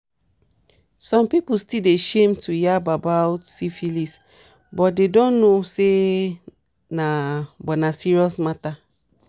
some people still dey shame to yarb about about syphilis but they don't know say na but na serious matter